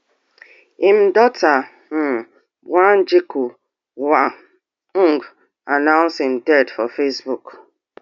im daughter um wanjiku announce im death for facebook